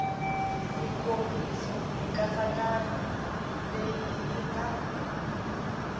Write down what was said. mikomiso mikatsakanyo leyi yi nga